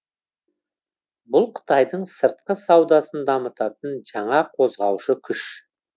бұл қытайдың сыртқы саудасын дамытатын жаңа қозғаушы күш